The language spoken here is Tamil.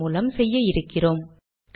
ஆர்க் மூலம் செய்ய இருக்கிறோம்